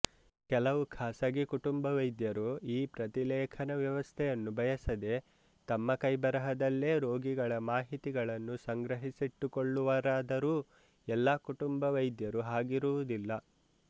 ಕೆಲವು ಖಾಸಗಿ ಕುಟುಂಬವೈದ್ಯರು ಈ ಪ್ರತಿಲೇಖನ ವ್ಯವಸ್ಥೆಯನ್ನು ಬಯಸದೆ ತಮ್ಮ ಕೈಬರಹದಲ್ಲೇ ರೋಗಿಗಳ ಮಾಹಿತಿಗಳನ್ನು ಸಂಗ್ರಹಿಸಿಟ್ಟುಕೊಳ್ಳುವರಾದರೂ ಎಲ್ಲಾ ಕುಟುಂಬವೈದ್ಯರೂ ಹಾಗಿರುವುದಿಲ್ಲ